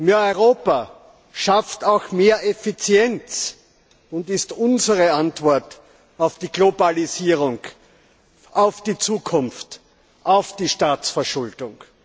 Mehr Europa schafft auch mehr Effizienz und ist unsere Antwort auf die Globalisierung, auf die Zukunft, auf die Staatsverschuldung.